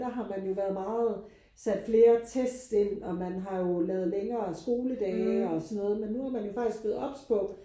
Der har man jo været meget sat flere test ind og man har jo lavet længere skoledage og sådan noget men nu er man jo faktisk blevet obs på